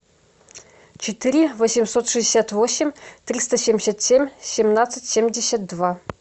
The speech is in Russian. четыре восемьсот шестьдесят восемь триста семьдесят семь семнадцать семьдесят два